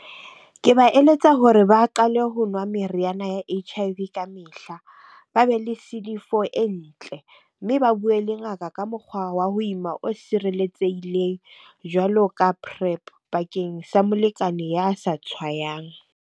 Ke ba eletsa hore ba qale ho nwa meriana ya H_I_V ka mehla. Ba be le C_D four e ntle. Mme ba bue le ngaka ka mokgwa wa ho ima o sireletsehileng jwalo ka PrEp bakeng sa molekane ya sa tshwayang.